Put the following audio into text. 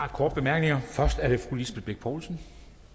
er korte bemærkninger først er det fru lisbeth bech poulsen